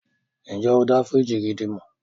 Ǹjẹ́ o dá fíríjì gidi mọ̀?